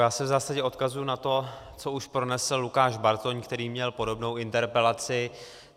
Já se v zásadě odkazuji na to, co už pronesl Lukáš Bartoň, který měl podobnou interpelaci.